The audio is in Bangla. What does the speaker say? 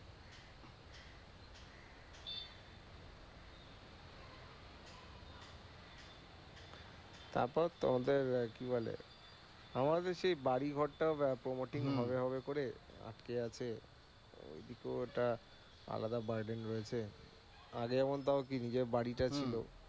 তারপর তবে আহ কি বলে আমার বেশি এই বাড়ি ঘর টা ও promoting হবে হবে করে আটকে আছে। আলাদা আগে এমন তাও কি নিজের বাড়িটা ছিল